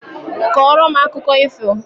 Kọrọ m akụkọ ifo!